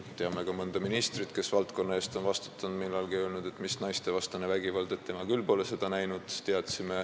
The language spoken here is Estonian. Teame ka mõnda ministrit, kes on selle valdkonna eest vastutanud ja öelnud, et mis naistevastane vägivald, tema pole seda küll näinud.